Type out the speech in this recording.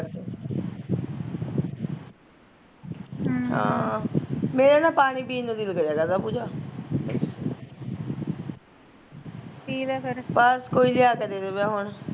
ਹਮ ਹਾਂ, ਮੇਰਾ ਨਾ ਪਾਣੀ ਪੀਣ ਨੂੰ ਦਿਲ ਕਰਿਆ ਕਰਦਾ ਪੂਜਾ ਬਸ ਕੋਈ ਲਿਆ ਕੇ ਦੇ ਦਵੇ ਹੁਣ